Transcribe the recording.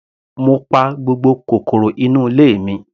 Mo pa gbogbo kòkòrò inú ilé mi.